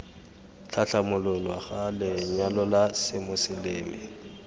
tlhatlhamololwa ga lenyalo la semoseleme